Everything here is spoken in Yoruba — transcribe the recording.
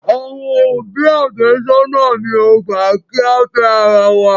Àwọn òbí àfẹ́sónà mi ò gbà kí á fẹ́ ara wa.